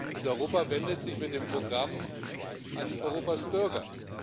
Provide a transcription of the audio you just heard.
Und Europa wendet sich mit dem Programm an Europas Bürger.